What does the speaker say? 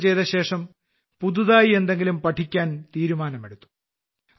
retire ചെയ്തശേഷം പുതുതായി എന്തെങ്കിലും പഠിക്കാൻ തീരുമാനം എടുത്തു